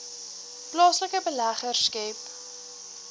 plaaslike beleggers skep